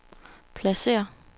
pladsér